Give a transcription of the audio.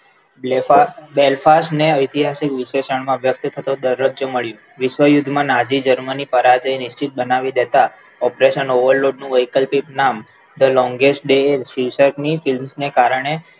Belfast ને ઐતિહાસિક વિશેષણ માં વ્યક્ત થતો દરજ્જો મળ્યો. વિશ્વયુદ્ધમાં નાઝી Germany પરાજય નિશ્ચિત બનાવી દેતા operation overload નું વૈકલ્પિક નામ the longest wake શીર્ષકની films ને કારણે